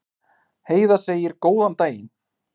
Heiða segir góðan daginn!